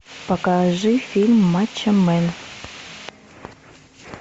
покажи фильм мачо мэн